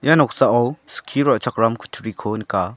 ia noksao skie ra·chakram kutturiko nika.